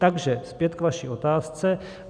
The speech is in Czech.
Takže zpět k vaší otázce.